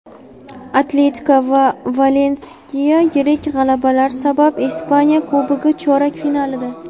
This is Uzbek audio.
"Atletiko" va "Valensiya" yirik g‘alabalar sabab Ispaniya Kubogi chorak finalida.